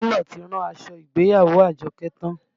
Télọ̀ ti rán aṣọ ìgbéyàwó Àjọkẹ́ tán